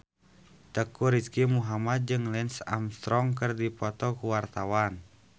Teuku Rizky Muhammad jeung Lance Armstrong keur dipoto ku wartawan